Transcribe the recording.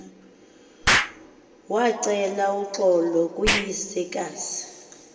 wacela uxolo kuyisekazi